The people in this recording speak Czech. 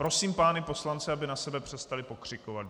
Prosím pány poslance, aby na sebe přestali pokřikovat.